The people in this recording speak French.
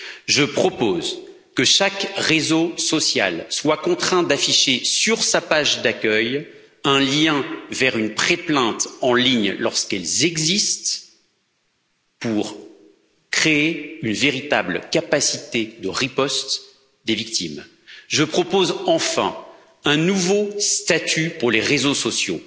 Je propose que chaque réseau social soit contraint d'afficher sur sa page d'accueil un lien vers une pré plainte en ligne, lorsqu'il y a lieu, pour créer une véritable capacité de riposte des victimes. Je propose, enfin, un nouveau statut pour les réseaux sociaux